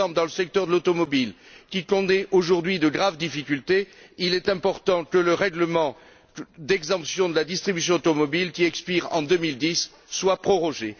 Par exemple, dans le secteur automobile, qui connaît aujourd'hui de graves difficultés, il est important que le règlement d'exemption de la distribution automobile, qui expire en 2010, soit prorogé.